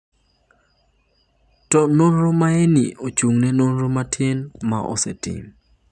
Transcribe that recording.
To nonro maeni ochung’ne nonro matin ma osetim.